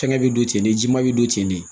Fɛngɛ bɛ don ten nema bɛ don ten de